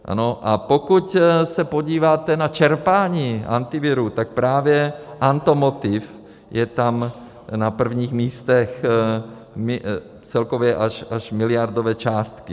A pokud se podíváte na čerpání Antivirů, tak právě automotiv je tam na prvních místech, celkově až miliardové částky.